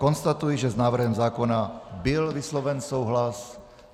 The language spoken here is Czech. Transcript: Konstatuji, že s návrhem zákona byl vysloven souhlas.